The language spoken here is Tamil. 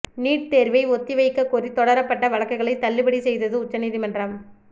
நீட் தேர்வை ஒத்திவைக்க கோரி தொடரப்பட்ட வழக்குகளை தள்ளுபடி செய்தது உச்சநீதிமன்றம்